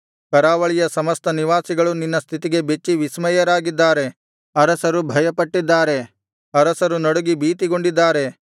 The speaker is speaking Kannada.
ಕರಾವಳಿಯ ಸಮಸ್ತ ನಿವಾಸಿಗಳು ನಿನ್ನ ಸ್ಥಿತಿಗೆ ಬೆಚ್ಚಿ ವಿಸ್ಮಯರಾಗಿದ್ದಾರೆ ಅರಸರು ಭಯಪಟ್ಟಿದ್ದಾರೆ ಅರಸರು ನಡುಗಿ ಭೀತಿಗೊಂಡಿದ್ದಾರೆ